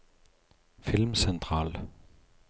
filmsentral